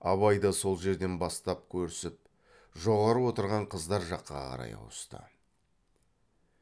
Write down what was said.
абай да сол жерден бастап көрісіп жоғары отырған қыздар жаққа қарай ауысты